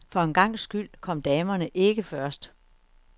For en gangs skyld kom damerne ikke først.